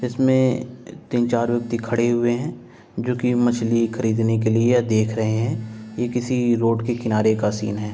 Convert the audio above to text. जिसमें तीन चार व्यक्ति खड़े हुए हैं जो कि मछली खरीदने के लिए देख रहे हैं। ये किसी रोड के किनारे का सीन है।